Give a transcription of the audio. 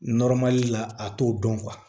la a t'o dɔn